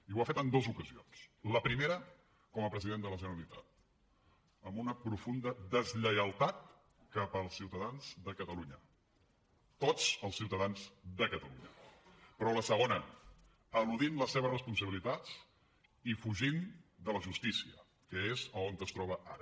i ho ha fet en dos ocasions la primera com a president de la generalitat amb una profunda deslleialtat cap als ciutadans de catalunya tots els ciutadans de catalunya però la segona eludint les seves responsabilitats i fugint de la justícia que és on es troba ara